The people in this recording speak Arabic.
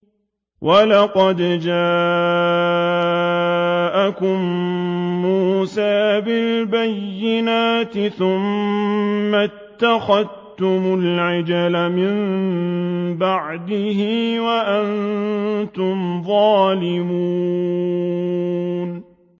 ۞ وَلَقَدْ جَاءَكُم مُّوسَىٰ بِالْبَيِّنَاتِ ثُمَّ اتَّخَذْتُمُ الْعِجْلَ مِن بَعْدِهِ وَأَنتُمْ ظَالِمُونَ